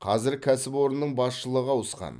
қазір кәсіпорынның басшылығы ауысқан